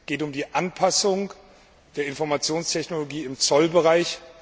Es geht um die Anpassung der Informationstechnologie im Zollbereich.